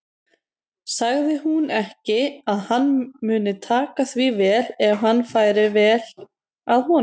Sagði hún ekki að hann mundi taka því vel ef hann færi vel að honum?